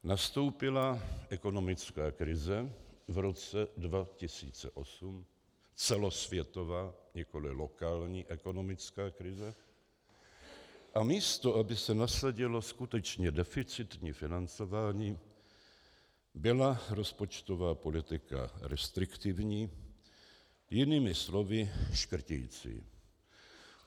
Nastoupila ekonomická krize v roce 2008, celosvětová, nikoli lokální ekonomická krize, a místo aby se nasadilo skutečně deficitní financování, byla rozpočtová politika restriktivní, jinými slovy škrticí.